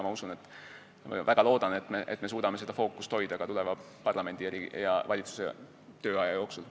Ma usun ja loodan väga, et me suudame seda fookust hoida ka tulevase parlamendi ja valitsuse tööaja jooksul.